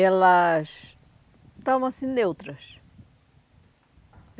Elas estavam assim, neutras.